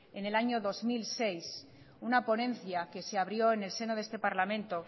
en el año dos mil seis una ponencia que se abrió en el seno de este parlamento